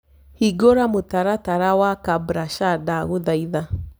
hĩngura mũtaratara wa kabrasha ndagũthaĩtha